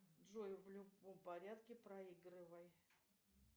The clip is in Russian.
джой в любом порядке проигрывай